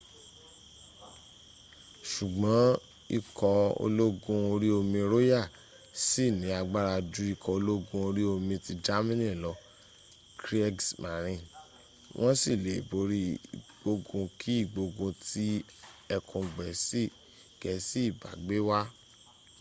ṣùgbọ́n ikọ̀ ológun orí omi royal ṣì ní agbára ju ikọ̀ ológun orí omi ti germany lọ kriegsmarine” wọ́n sì le borí ìgbógun kí ìgbógun tí ẹkùn gẹ̀ẹ́sì ìbá gbé wá